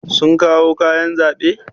Sun kawo kayan zaɓe?